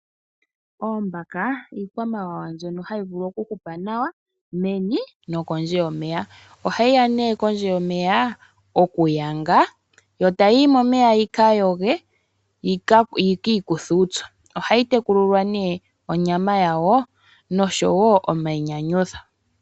Oombaka ikwamawawa ndyono hayi vulu oku hupa nawa meni nokondje komeya. Ohayiya nee kondje yomeya oku yanga yo tayi yi momeya yika yonge, yiki ikuthe uupyu. Ohayi tekulilwa nee onyama yawo noshowo omayinyanyudho.